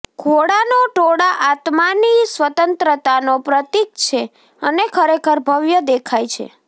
ઘોડાનો ટોળાં આત્માની સ્વતંત્રતાનો પ્રતીક છે અને ખરેખર ભવ્ય દેખાય છે